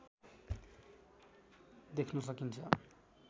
देख्न सकिन्छ